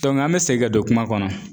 an bɛ segin ka don kuma kɔnɔ.